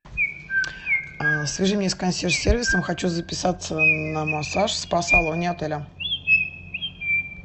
свяжи меня с консьерж сервисом хочу записаться на массаж в спа салоне отеля